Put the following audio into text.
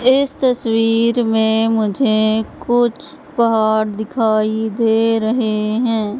इस तस्वीर मे मुझे कुछ पहाड़ दिखाई दे रहे है।